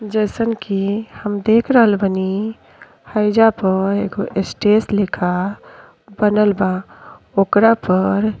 जईसन कि हम देख रहल बानी हईजा पर एगो स्टेज लेखा बनल बा ओकरा पर --